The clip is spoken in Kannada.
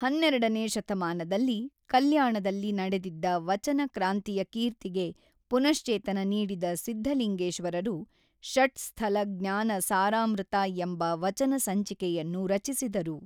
ಹನ್ನೆರಡನೆ ಶತಮಾನದಲ್ಲಿ ಕಲ್ಯಾಣದಲ್ಲಿ ನಡೆದಿದ್ದ ವಚನ ಕ್ರಾಂತಿಯ ಕೀರ್ತಿಗೆ ಪುನಶ್ಚೇತನ ನೀಡಿದ ಸಿದ್ಧಲಿಂಗೇಶ್ವರರು ಷಟ್ ಸ್ಥಲ ಜ್ಞಾನ ಸಾರಾಮೃತ ಎಂಬ ವಚನ ಸಂಚಿಕೆಯನ್ನು ರಚಿಸಿದರು.